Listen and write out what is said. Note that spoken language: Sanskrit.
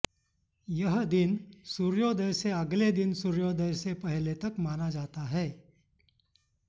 यह दिन सूर्योदय से अगले दिन सूर्योदय से पहले तक माना जाता है